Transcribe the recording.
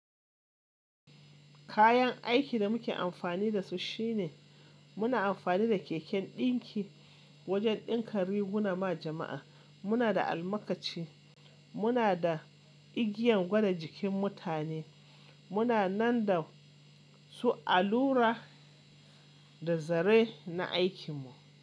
Kayan aikin da muke amfani da su shine muna amfani da keken ɗinki wajen ɗinka riguna ma jama'a. Muna da almakashi, muna da igiyan gwada jikin mutane. Muna nan da su allura da zare na aikin mu.